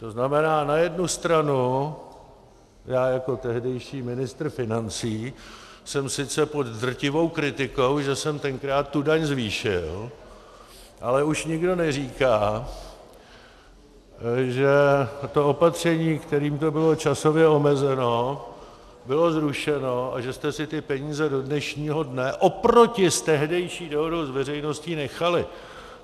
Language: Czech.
To znamená, na jednu stranu já jako tehdejší ministr financí jsem sice pod drtivou kritikou, že jsem tenkrát tu daň zvýšil, ale už nikdo neříká, že to opatření, kterým to bylo časově omezeno, bylo zrušeno a že jste si ty peníze do dnešního dne oproti s tehdejší dohodou s veřejností nechali.